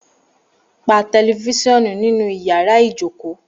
Pà tẹlifisionù tìnú yàrá ìjókò!